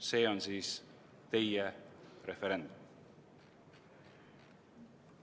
See on siis teie referendum.